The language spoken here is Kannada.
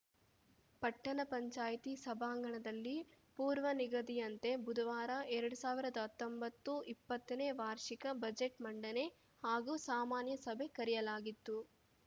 ಪಟ್ಟಣ ಪಂಚಾಯತಿ ಸಭಾಂಗಣದಲ್ಲಿ ಪೂರ್ವನಿಗದಿಯಂತೆ ಬುಧವಾರ ಎರಡ್ ಸಾವಿರ್ದಾ ಹತ್ತೊಂಬತ್ತುಇಪ್ಪತ್ತನೇ ವಾರ್ಷಿಕ ಬಜೆಟ್‌ಮಂಡನೆ ಹಾಗೂ ಸಾಮಾನ್ಯ ಸಭೆ ಕರೆಯಲಾಗಿತ್ತು